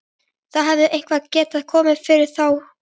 Það hefði eitthvað getað komið fyrir þær báðar!